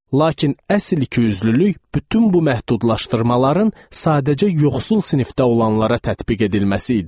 Lakin əsl ikiyüzlülük bütün bu məhdudlaşdırmaların sadəcə yoxsul sinifdə olanlara tətbiq edilməsi idi.